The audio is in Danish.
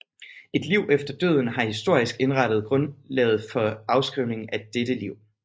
Et liv efter døden har historisk indrettet grundlaget for afskrivningen af dette liv